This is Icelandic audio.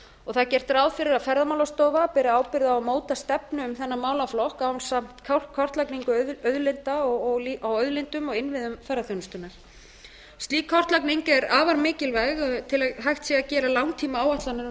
það er gert ráð fyrir að ferðamálastofa beri ábyrgð á að móta stefnu um þennan málaflokk ásamt kortlagningu á auðlindum og innviðum ferðaþjónustunnar slík kortlagning er afar mikilvæg til að hægt sé að gera langtímaáætlanir um